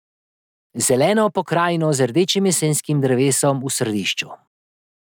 Zeleno pokrajino z rdečim jesenskim drevesom v središču.